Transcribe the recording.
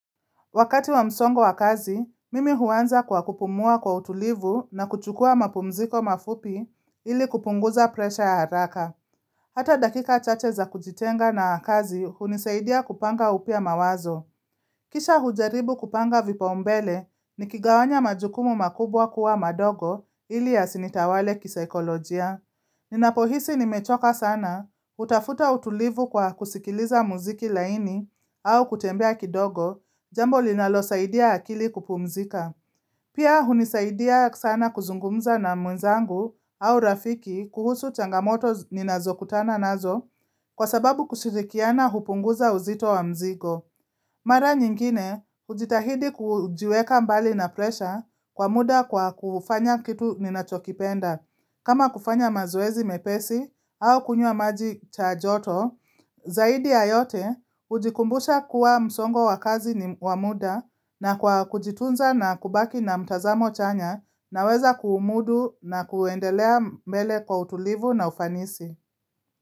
Wakati wa msongo wa kazi, mimi huanza kwa kupumua kwa utulivu na kuchukua mapumziko mafupi ili kupunguza presha ya haraka. Hata dakika chache za kujitenga na kazi hunisaidia kupanga upya mawazo. Kisha hujaribu kupanga vipa umbele ni kigawanya majukumu makubwa kuwa madogo ili yasinitawale kisaikolojia. Ninapohisi nimechoka sana, utafuta utulivu kwa kusikiliza muziki laini au kutembea kidogo, jambo linalo saidia akili kupumzika. Pia hunisaidia sana kuzungumza na mwenzangu au rafiki kuhusu changamoto ninazokutana nazo kwa sababu kushirikiana hupunguza uzito wa mzigo. Mara nyingine, ujitahidi kujiweka mbali na presha kwa muda kwa kufanya kitu ninachokipenda. Kama kufanya mazoezi mepesi au kunywa maji cha joto, zaidi ya yote ujikumbusha kuwa msongo wa kazi ni wa muda na kwa kujitunza na kubaki na mtazamo chanya naweza kuumudu na kuendelea mbele kwa utulivu na ufanisi.